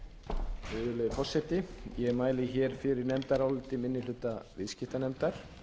virðulegi forseti ég mæli hér fyrir nefndaráliti minni hluta viðskiptanefndar